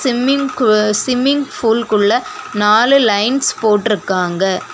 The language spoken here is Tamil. ஸ்விம்மிங் பு ஸ்விம்மிங் ஃபூல் குள்ள நாலு லைன்ஸ் போட்டுருக்காங்க.